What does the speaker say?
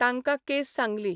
तांकां केस सांगली.